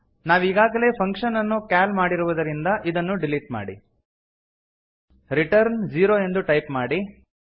ನಾವೀಗಾಗಲೇ function ಅನ್ನು call ಮಾಡಿರುವುದರಿಂದ ಇದನ್ನು ಡಿಲೀಟ್ ಮಾಡಿ ರಿಟರ್ನ್ ಜೀರೊ ಎಂದು ಟೈಪ್ ಮಾಡಿ